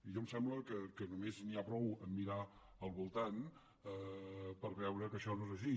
a mi em sembla que només n’hi ha prou a mirar al voltant per veure que això no és així